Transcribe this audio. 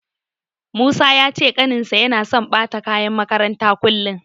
Musa ya ce ƙaninsa yana so ɓata kayan makarantarsa kullum.